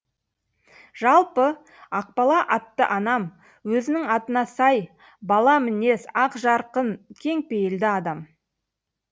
жалпы ақбала атты анам өзінің атына сай бала мінез ақ жарқын кеңпейілді адам